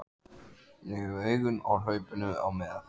Kristján: Gæti þetta kallað á lagabreytingar?